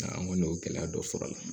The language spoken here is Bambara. An kɔni y'o gɛlɛya dɔ sɔrɔ a la